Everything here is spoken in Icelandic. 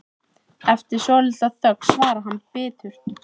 Eftir svolitla þögn svarar hann biturt